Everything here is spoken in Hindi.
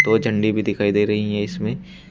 दो झंडी भी दिखाई दे रही है इसमें।